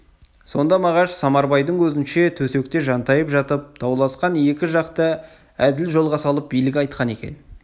сонда мағаш самарбайдың көзінше төсекте жантайып жатып дауласқан екі жақты әділ жолға салып билік айтқан екен